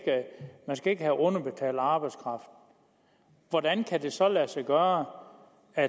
man ikke skal have underbetalt arbejdskraft hvordan kan det så lade sig gøre at